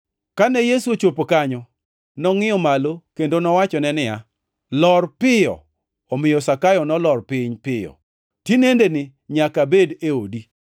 Kane Yesu ochopo kanyo, nongʼiyo malo kendo nowachone niya, “Omiyo Zakayo, nolor piny piyo. Tinendeni nyaka abed e odi.”